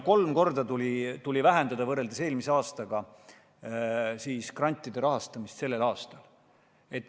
Kolm korda tuli võrreldes eelmise aastaga vähendada grantide rahastamist sellel aastal.